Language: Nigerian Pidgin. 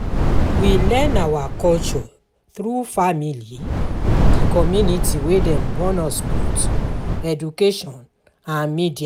we learn our culture through family, di community wey dem born us put, education and media